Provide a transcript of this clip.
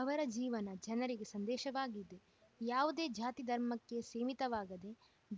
ಅವರ ಜೀವನ ಜನರಿಗೆ ಸಂದೇಶವಾಗಿದೆ ಯಾವುದೇ ಜಾತಿ ಧರ್ಮಕ್ಕೆ ಸೀಮಿತವಾಗದೆ